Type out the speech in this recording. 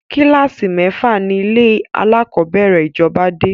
Kílàsì Mẹ́fà ni ilé alákọ̀bẹ́rẹ̀ ìjọba dé